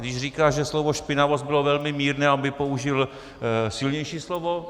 Když říká, že slovo špinavost bylo velmi mírné, aby použil silnější slovo?